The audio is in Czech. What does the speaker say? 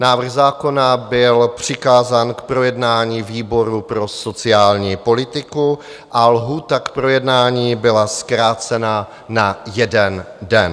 Návrh zákona byl přikázán k projednání výboru pro sociální politiku a lhůta k projednání byla zkrácena na jeden den.